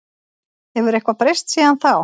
Hefur eitthvað breyst síðan þá?